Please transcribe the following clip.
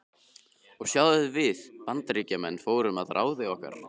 Og sjáðu hvernig við Bandaríkjamenn fórum að ráði okkar.